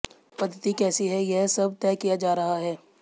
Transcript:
पद्धति कैसी है यह सब तय किया जा रहा है